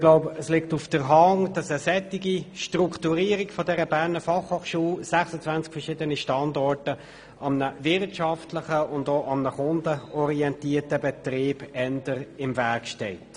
Es liegt auf der Hand, dass eine solche Strukturierung der BFH mit 26 verschiedenen Standorten einem wirtschaftlichen und kundenorientierten Betrieb eher im Weg steht.